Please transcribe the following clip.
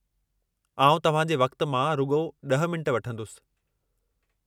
आउं तव्हां जे वक़्त मां रुॻो 10 मिंट वठंदुसि।